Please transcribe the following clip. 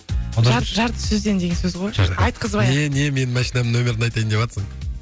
жарты сөзден деген сөз ғой айтқызбай ақ не не менің машинамның нөмірін айтайын деватсың